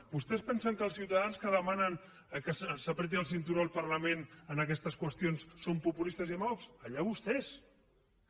vostès pensen que els ciutadans que demanen que s’estrenyi el cinturó el parlament en aquestes qüestions són populistes i demagogs vostès mateixos